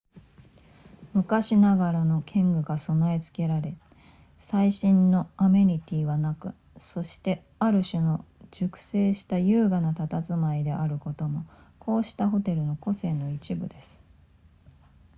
昔ながらの建具が備え付けられ最新のアメニティはなくそしてある種の熟成した優雅な佇まいであることもこうしたホテルの個性の一部です